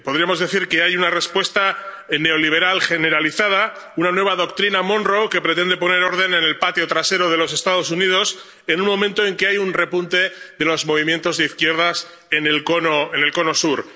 Podríamos decir que hay una respuesta neoliberal generalizada, una nueva doctrina Monroe que pretende poner orden en el patio trasero de los Estados Unidos en un momento en que hay un repunte de los movimientos de izquierdas en el Cono Sur.